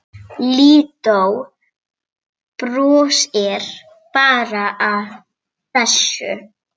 Lídó brosir bara að þessu.